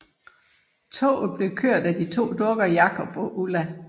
Toget bliver ført af de to dukker Jakob og Ulla